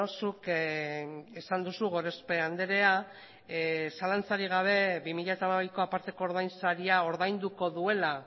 zuk esan duzu gorospe andrea zalantzarik gabe bi mila hamabiko aparteko ordainsaria ordainduko duela